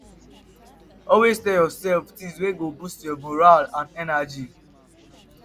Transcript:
always dey tel urself tins wey go boost yur moral and energy